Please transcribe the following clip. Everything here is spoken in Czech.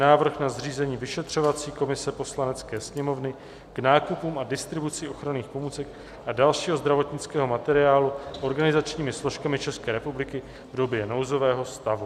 Návrh na zřízení Vyšetřovací komise Poslanecké sněmovny k nákupům a distribuci ochranných pomůcek a dalšího zdravotnického materiálu organizačními složkami České republiky v době nouzového stavu